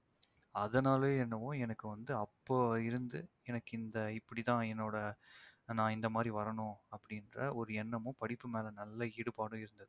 அதனாலோ என்னவோ எனக்கு வந்து அப்போ இருந்து எனக்கு இந்த இப்படிதான் என்னோட நான் இந்த மாதிரி வரணும் அப்படின்ற ஒரு எண்ணமும் படிப்பு மேல நல்ல ஈடுபாடும் இருந்தது